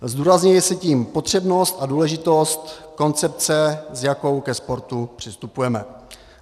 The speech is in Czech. Zdůrazňuje se tím potřebnost a důležitost koncepce, s jakou ke sportu přistupujeme.